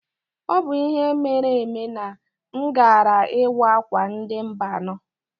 Ọ bụ ihe meere eme na m gaara ịwa akwa ndị Mba anọ.